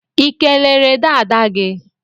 Ikelere dada gi?